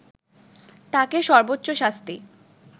তাকে সব্বোর্চ্চ শাস্তি